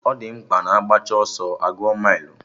Ọ di mkpa na agbacha ọsọ a gụọ mailụ